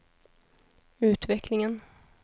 utvecklingen